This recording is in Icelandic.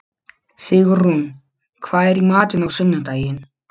Sigurunn, hvað er í matinn á sunnudaginn?